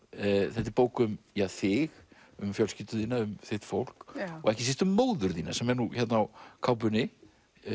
þetta er bók um þig um fjölskyldu þína þitt fólk og ekki síst um móður þína sem er nú hérna á kápunni